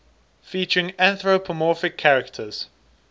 featuring anthropomorphic characters